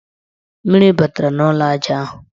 Mmiri batara n' ụlọaja ahụ.